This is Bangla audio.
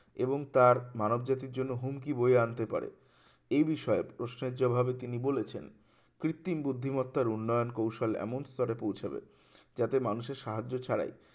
এবং তার মানব জাতির জন্য হুমকি বয়ে আনতে পারে এই বিষয়ে প্রশ্নের জবাবের তিনি বলেছেন কৃত্রিম বুদ্ধিমত্তার উন্নয়ন কৌশলে এমন স্তরে পৌঁছাবে যাতে মানুষের সাহায্য ছাড়াই